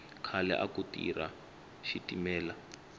khale aku tirha xitimela